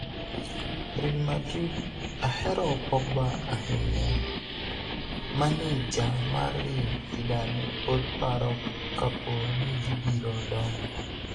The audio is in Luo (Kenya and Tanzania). Real Madrid 'ahero pogba ahinya, maneja mar Real zidane pod paro kapo ni gibiro donjo